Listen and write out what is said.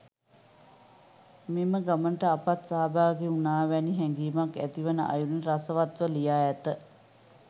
මෙම ගමනට අපත් සහභාගී වුනා වැනි හැගීමක් ඇතිවන අයුරින් රසවත්ව ලියා ඇත.